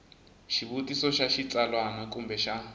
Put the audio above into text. xivutiso xa xitsalwana kumbe xa